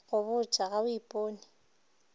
go botše ga o ipone